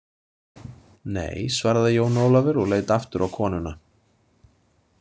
Nei, svaraði Jón Ólafur og leit aftur á konuna.